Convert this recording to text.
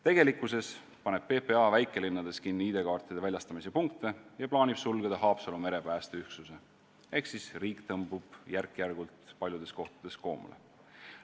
Tegelikkuses paneb PPA väikelinnades kinni ID-kaartide väljastamise punkte ja plaanib sulgeda Haapsalu merepäästeüksuse ehk siis riik tõmbub järk-järgult paljudes kohtades koomale.